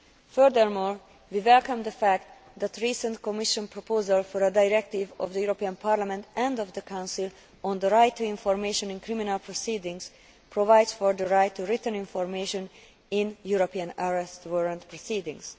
Furthermore, we welcome the fact that a recent Commission proposal for a directive of the European Parliament and of the Council on the right to information in criminal proceedings provides for the right to written information in European Arrest Warrant proceedings.